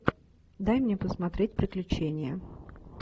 дай мне посмотреть приключения